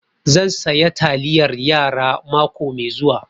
Zan saya taliyar yara mako mai zuwa